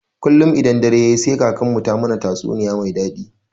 Kullun idan dare yayi sai kakarmu ta mana tatsuniya me daɗi.